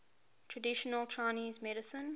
traditional chinese medicine